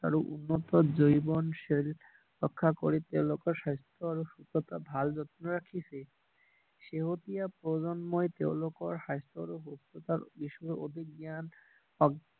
আৰু উন্নত জৈৱনশিল ৰক্ষা কৰি তেওঁলোকৰ স্বাস্থ্য আৰু সুস্থতা ভাল যত্ন ৰাখিছে শেহতীয়া প্ৰজন্মই তেওঁলোকৰ স্বাস্থ্য আৰু সুস্থতাৰ বিষয়ে অধিক জ্ঞান